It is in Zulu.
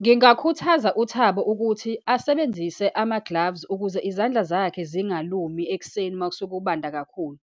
Ngingakhuthaza uThabo ukuthi asebenzise ama-gloves ukuze izandla zakhe zingalumi ekuseni uma sekubanda kakhulu.